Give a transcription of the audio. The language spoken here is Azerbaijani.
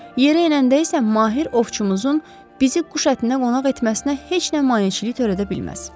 Yerə enəndə isə mahir ovçumuzun bizi quş ətinə qonaq etməsinə heç nə maneçilik törədə bilməz.